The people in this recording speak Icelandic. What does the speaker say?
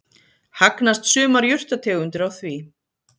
Hagnast sumar jurtategundir á því.